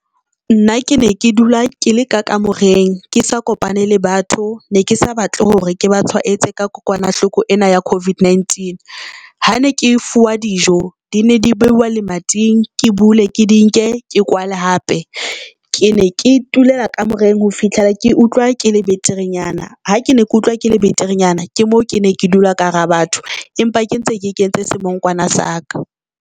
Nna ke ne ke dula ke le ka kamoreng ke sa kopane le batho ne ke sa batle hore ke ba tshwaetse ka kokwanahloko ena ya COVID-19. Ha ne ke fuwa dijo di ne di beuwa le mating, ke bule ke di nke ke kwale hape. Ke ne ke tulela kamoreng ho fihlela ke utlwa ke le beterenyana. Ha ke ne ke utlwa ke le beterenyana ke moo ke ne ke dula ka hara batho, empa ke ntse ke kentse semongkwana sa ka.